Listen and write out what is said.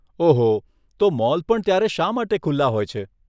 ઓહો, તો મોલ પણ ત્યારે શા માટે ખુલ્લા હોય છે?